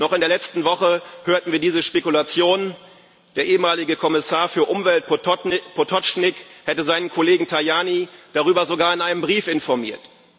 Noch in der letzten Woche hörten wir diese Spekulationen Der ehemalige Kommissar für Umwelt, Potočnik, hätte seinen Kollegen Tajani darüber sogar in einem Brief informiert.